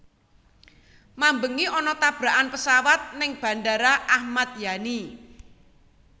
Mambengi ana tabrakan pesawat ning Bandara Ahmad Yani